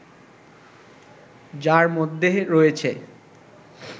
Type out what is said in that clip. যার মধ্যে রয়েছে